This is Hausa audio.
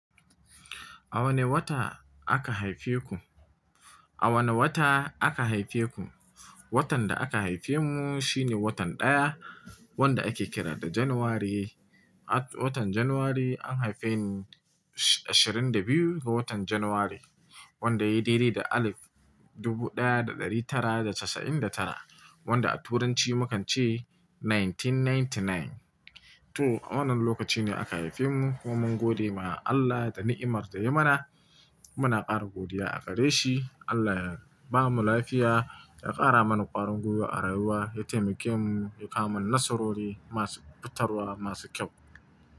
A wane wata aka haife ku? A wane wata aka haife ku? Watan da aka haife mu shine watan ɗaya, wanda ake kira da January. Watan January an haife ni, ashirin da biyu ga watan January, wanda yayi daɗe da alif dubu daya da dari tara da casa'in da tara, wanda a turanci mukan ce nineteen ninety-nine. To, wannan lokaci ne aka haife mu, kuma mun gode ma Allah da ni'imar da ya mana. Muna ƙara godiya a gare shi, Allah ya bamu lafiya, ya ƙara mana ƙwarin gwiwa a rayuwa, ya taimake mu, ya kawo mana narasarori masu fitarwa, masu kyau.